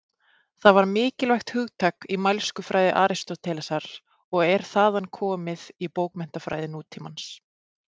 Það var mikilvægt hugtak í mælskufræði Aristótelesar og er þaðan komið í bókmenntafræði nútímans.